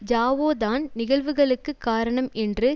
ஜாவோதான் நிகழ்வுகளுக்கு காரணம் என்றும்